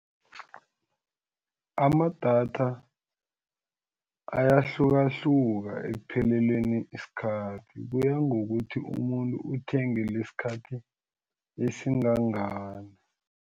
Amadatha ayahlukahluka ekupheleleleni isikhathi kuya ngokuthi umuntu uthenge lesikhathi esingangani.